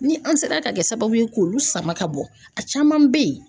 Ni an sera ka kɛ sababu ye k'olu sama ka bɔ a caman bɛ ye